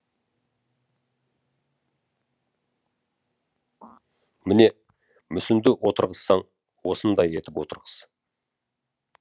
міне мүсінді отырғызсаң осындай етіп отырғыз